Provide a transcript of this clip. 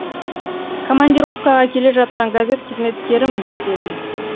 командировкаға келе жатқан газет қызметкерімін дедім